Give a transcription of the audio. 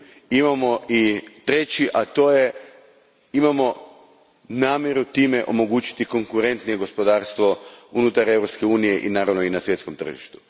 Imamo i treći, a to je imamo namjeru time omogućiti konkurentnije gospodarstvo unutar Europske unije i na svjetskom tržištu.